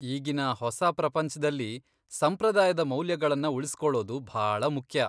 ಈಗಿನ ಹೊಸ ಪ್ರಪಂಚ್ದಲ್ಲಿ ಸಂಪ್ರದಾಯದ ಮೌಲ್ಯಗಳನ್ನ ಉಳಿಸ್ಕೊಳ್ಳೋದು ಭಾಳ ಮುಖ್ಯ.